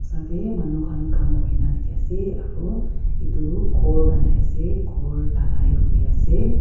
sa dae manu khan kam kurena dekhe ase aro etu ghor banai ase ghor dhalai kure ase.